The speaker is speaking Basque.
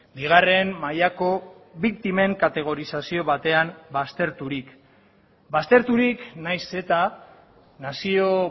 bigarren mailako biktimen kategorizazio batean bazterturik bazterturik nahiz eta nazio